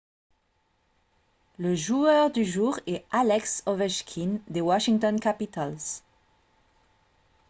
le joueur du jour est alex ovechkin des washington capitals